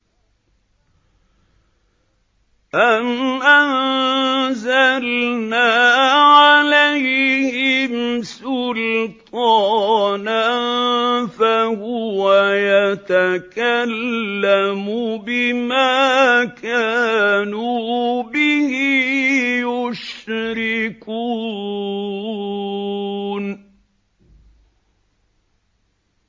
أَمْ أَنزَلْنَا عَلَيْهِمْ سُلْطَانًا فَهُوَ يَتَكَلَّمُ بِمَا كَانُوا بِهِ يُشْرِكُونَ